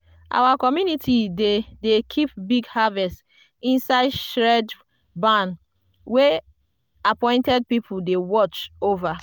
our community dey dey keep big harvest inside shred barn wey appointed people dey watch over.